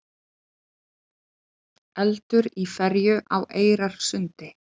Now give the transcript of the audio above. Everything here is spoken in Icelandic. Eldur í ferju á Eyrarsundi